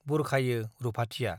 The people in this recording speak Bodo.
बुरखायो रुपाथिया ।